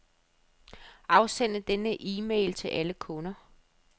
Afsend denne e-mail til alle kunder.